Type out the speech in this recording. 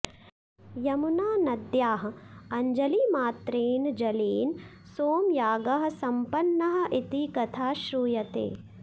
यमुनानद्याः अञ्जलिमात्रेन जलेन सोमयागः सम्पन्नः इति कथा श्रूयते